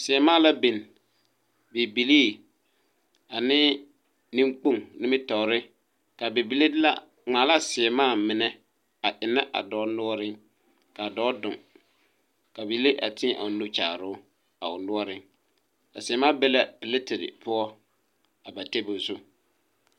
Sēɛmaa la bin bibilii ane neŋkpoŋ nimitoore ka bibile de la ngmaa laa sēɛmaa mine a eŋnɛ a dɔɔ noɔreŋ kaa dɔɔ duŋ ka bibile a tēɛ o nu kyaaroo a o noɔreŋ a sēɛmaa be la platerre poɔ a pare tabol zu.